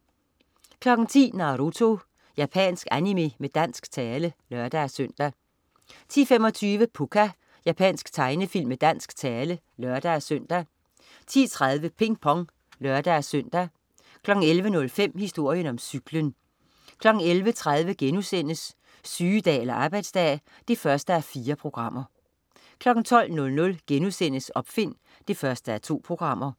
10.00 Naruto. Japansk animé med dansk tale (lør-søn) 10.25 Pucca. Japansk tegnefilm med dansk tale (lør-søn) 10.30 Ping Pong (lør-søn) 11.05 Historien om cyklen 11.30 Sygedag eller arbejdsdag? 1:4* 12.00 Opfind 1:2*